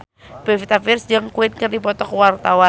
Pevita Pearce jeung Queen keur dipoto ku wartawan